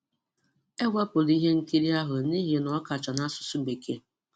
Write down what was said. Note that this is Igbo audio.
E wepụrụ ihe nkiri ahụ n'ihi na ọ kacha n'asụsụ Bekee.